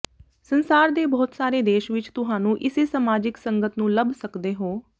ਸੰਸਾਰ ਦੇ ਬਹੁਤ ਸਾਰੇ ਦੇਸ਼ ਵਿੱਚ ਤੁਹਾਨੂੰ ਇਸੇ ਸਮਾਜਿਕ ਸੰਗਤ ਨੂੰ ਲੱਭ ਸਕਦੇ ਹੋ